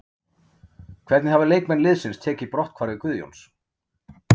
Hvernig hafa leikmenn liðsins tekið brotthvarfi Guðjóns?